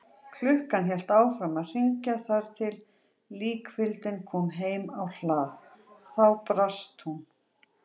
Klukkan hélt áfram að hringja þar til líkfylgdin kom heim á hlað, þá brast hún.